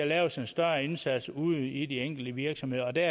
laves en større indsats ude i de enkelte virksomheder og der